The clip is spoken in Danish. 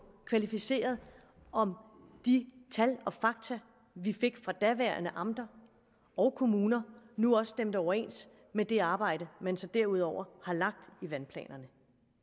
kvalificeret om de tal og fakta vi fik fra de daværende amter og kommuner nu også stemte overens med det arbejde man så derudover har lagt i vandplanerne